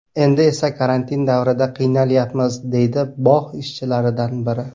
Endi esa karantin davrida qiynalyapmiz”, deydi bog‘ ishchilaridan biri.